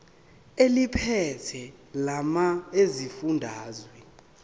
eliphethe lamarcl esifundazwe